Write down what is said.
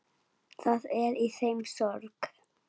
Það er í þeim sorg.